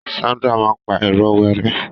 Sandra máa n pa ìró wẹ́rẹ́.